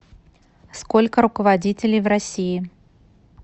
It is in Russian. сколько руководителей в россии